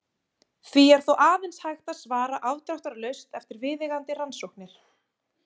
Því er þó aðeins hægt að svara afdráttarlaust eftir viðeigandi rannsóknir.